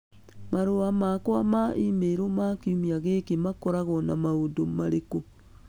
Marũa makwa ma e-mail ma kiumia gĩkĩ makoragwo na maũndũ marĩkũ?